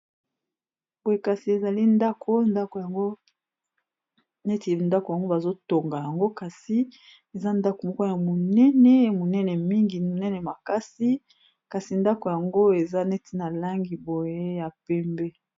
Boye kasi ezali ndako, ndako yango neti ndako yango bazo tonga yango kasi eza ndako moko ya monene monene mingi monene makasi kasi ndako yango eza neti na langi boye ya pembe.